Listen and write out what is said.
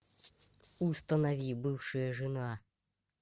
установи бывшая жена